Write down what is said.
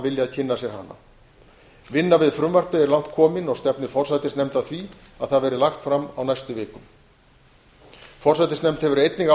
viljað kynna sér hana vinna við frumvarpið er langt komin og stefnir forsætisnefnd að því að það verði lagt fram á næstu vikum forsætisnefnd hefur einnig